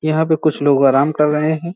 यहाँ पे कुछ लोग आराम कर रहे हैं।